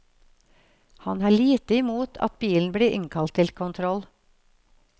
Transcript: Han har lite imot at bilen blir innkalt til kontroll.